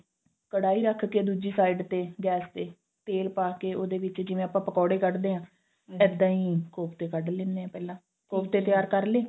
ਕੜਾਈ ਰੱਖ ਕੇ ਦੂਜੀ side ਤੇ gas ਤੇ ਤੇਲ ਪਾਕੇ ਜਿਵੇਂ ਉਹਦੇ ਵਿੱਚ ਆਪਾਂ ਪਕੋੜੇ ਕੱਢ ਦੇ ਆਂ ਇੱਦਾਂ ਹੀ ਕੋਫਤੇ ਕੱਢ ਲੈਨੇ ਆਂ ਪਹਿਲਾਂ ਕੋਫਤੇ ਤਿਆਰ ਕਰਲੇ